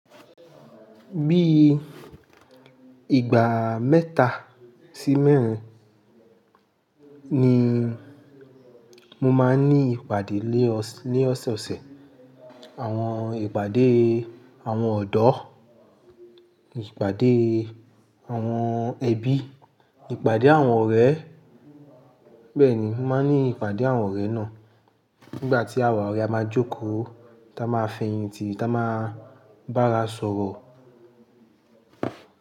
Bí ìgbà mẹ́ta sí mẹ́rin ni mo máa ń ní ìpàdé ní ọ̀sọ̀ọ̀sẹ̀. Àwọn ìpàdé àwọn ọ̀dọ́, ìpàdé àwọn ẹbí, ìpàdé àwọn ọ̀rẹ́. Bẹ́ẹ̀ ni, mo máa ń ní ìpàdé àwọn ọ̀rẹ́ náà nígbà tí àwa ọ̀rẹ́ a máa jókòó, ti a máa fẹ̀yìntì, ti a máa bá ara sọ̀rọ̀